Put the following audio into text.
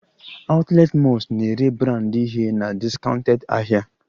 Outlet malls na-ere branded ihe na discounted ahịa